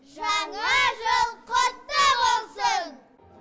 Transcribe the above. жаңа жыл құтты болсын